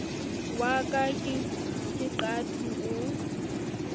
wa ka ke qati o